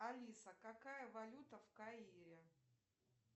алиса какая валюта в каире